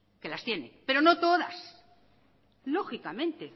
que las tiene pero no todas lógicamente